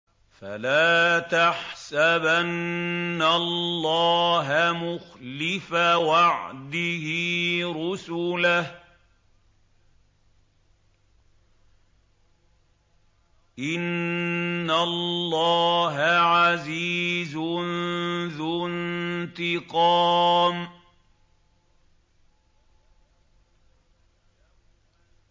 فَلَا تَحْسَبَنَّ اللَّهَ مُخْلِفَ وَعْدِهِ رُسُلَهُ ۗ إِنَّ اللَّهَ عَزِيزٌ ذُو انتِقَامٍ